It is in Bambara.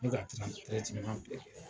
N ka bɛɛ kɛ